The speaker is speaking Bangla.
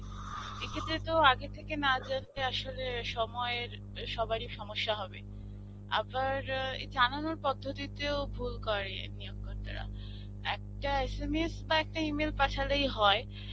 এক্ষেত্রে তো আগে থেকে নাজানিয়ে আসলে সময়ের সবারই সমস্যা হবে. আবার এ জানানোর পদ্ধতিতেও ভুল করে নিয়োগকর্তারা. একটা SMS বা একটা E-mail পাঠালেই হয়